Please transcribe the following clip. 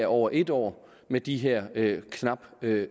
over en år med de her knap